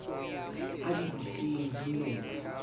a di butseng di ne